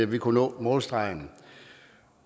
vi kunne nå målstregen